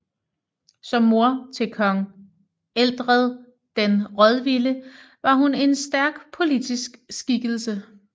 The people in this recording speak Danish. Som mor til kong Ethelred den Rådvilde var hun en stærk politisk skikkelse